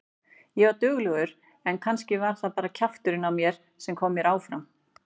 Ég var duglegur en kannski var það bara kjafturinn á mér sem kom mér áfram.